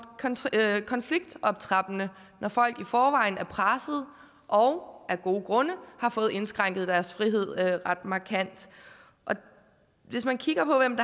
konfliktoptrappende når folk i forvejen er pressede og af gode grunde har fået indskrænket deres frihed ret markant hvis man kigger på hvem